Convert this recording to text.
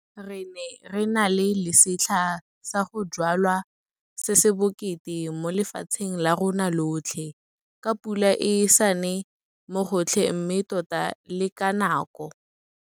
Re ne re na le setlha sa go jwala se se bokete mo lefatsheng la rona lotlhe, ka pula e sa ne mo gotlhe mme tota le ka nako.